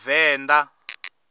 venḓa